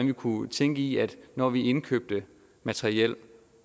vi kunne tænke i at når vi indkøbte materiel